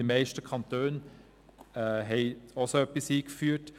Die meisten Kantone haben bereits etwas Ähnliches eingeführt.